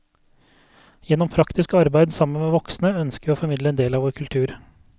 Gjennom praktisk arbeid sammen med voksne ønsker vi å formidle en del av vår kultur.